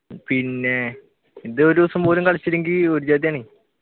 പിന്നെ ഇത് ഒരു ദിവസം പോലും കളിച്ചില്ലെങ്കിൽ